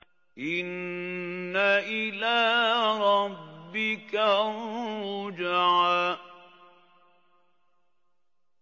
إِنَّ إِلَىٰ رَبِّكَ الرُّجْعَىٰ